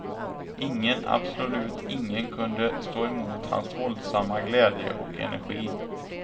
Ingen, absolut ingen kunde stå emot hans våldsamma glädje och energi.